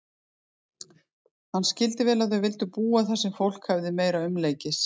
Hann skildi vel að þau vildu búa þar sem fólk hefði meira umleikis.